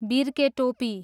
बिर्के टोपी